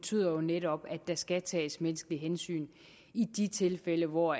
betyder jo netop at der skal tages menneskelige hensyn i de tilfælde hvor